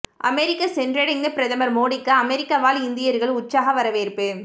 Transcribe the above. அமெரிக்க சென்றடைந்த பிரதமர் மோடிக்கு அமெரிக்க வாழ் இந்தியர்கள் உற்சாக வரவேற்பு